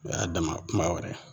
O y'a dama kuma wɛrɛ ye.